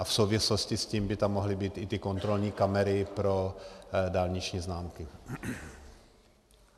A v souvislosti s tím by tam mohly být i ty kontrolní kamery pro dálniční známky.